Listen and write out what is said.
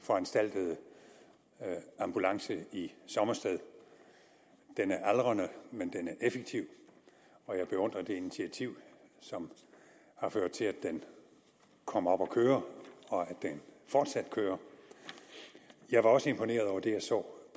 foranstaltede ambulance i sommersted den er aldrende men den er effektiv og jeg beundrer det initiativ som har ført til at den kom op at køre og at den fortsat kører jeg var også imponeret over det jeg så